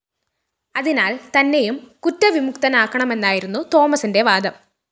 അതിനാല്‍ തന്നെയും കുറ്റവിമുക്തനാക്കണമെന്നായിരുന്നു തോമസിന്റെ വാദം